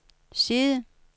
side